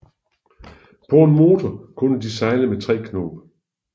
På en motor kunne de sejle med 3 knob